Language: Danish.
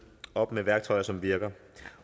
op med værktøjer som virker